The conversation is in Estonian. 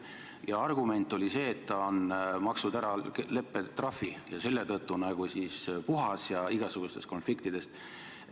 Ja argument oli see, et ta on maksnud ära leppetrahvi ja selle tõttu nagu puhas igasugustest konfliktidest.